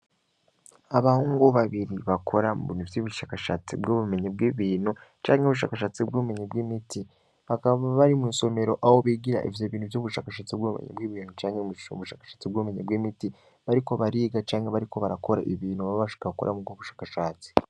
Abahungu babiri bakora mnvy'ibushakashatsi bwo bumenyi bw'ibintu canke ubushakashatsi bw'ubumenye bw'imiti bakaba bari mu'insomero abo bigira ivyo bintu vy'ubushakashatsi bw'obumenye bw'ibintu canke mmu bushakashatsi bw'ubumenyi bw'imiti bariko bariga canke bariko barakora ibintu babashka bakora mu bwo bushakashatsi.